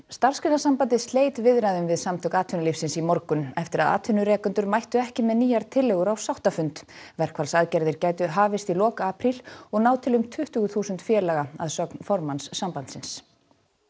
Starfsgreinasambandið sleit viðræðum við Samtök atvinnulífsins í morgun eftir að atvinnurekendur mættu ekki með nýjar tillögur á sáttafund verkfallsaðgerðir gætu hafist í lok apríl og náð til um tuttugu þúsund félaga að sögn formanns sambandsins